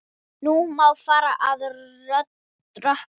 Nú má fara að rökkva.